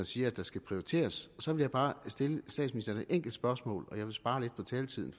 siger at der skal prioriteres så vil jeg bare stille statsministeren et enkelt spørgsmål og jeg vil spare lidt på taletiden